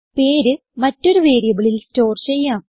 പേര് മറ്റൊരു വേരിയബിളിൽ സ്റ്റോർ ചെയ്യാം